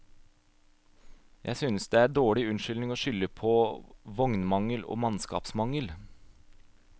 Jeg synes det er dårlig unnskyldning å skylde på vognmangel og mannskapsmangel.